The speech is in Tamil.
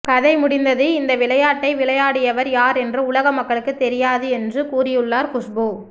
கதை முடிந்தது இந்த விளையாட்டை விளையாடியவர் யார் என்று உலக மக்களுக்கு தெரியாது என்று கூறியுள்ளார் குஷ்பு